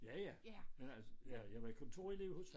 Ja ja men altså jeg var kontorelev hos